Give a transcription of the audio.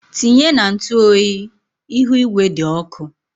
Tinye na ntụ oyi, ihu igwe dị ọkụ.